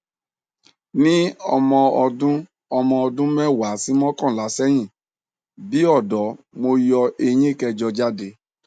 ní ọmọ ọdún ọmọ ọdún mẹwàá sí mọkànlá seyin bi odo mo yo eyín kẹjọ jáde